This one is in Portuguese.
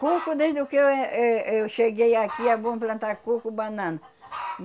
Coco, desde que eu eh eh eu cheguei aqui, é bom plantar coco, banana.